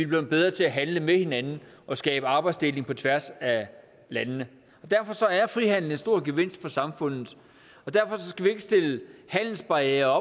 blevet bedre til at handle med hinanden og skabe arbejdsdeling på tværs af landene derfor er frihandel en stor gevinst for samfundet og derfor skal vi ikke stille handelsbarrierer